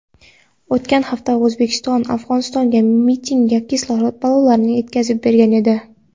o‘tgan hafta O‘zbekiston Afg‘onistonga mingta kislorod ballonlarini yetkazib bergan edi.